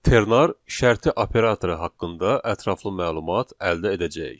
Ternar şərti operatoru haqqında ətraflı məlumat əldə edəcəyik.